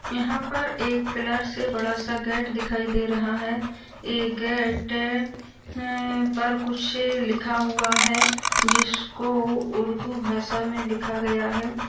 यहां पर एक पिलर से बड़ा सा गेट दिखाई दे रहा है ये गेट अम्म पर कुछ लिखा हुआ है जिसको उर्दू भाषा में लिखा गया है।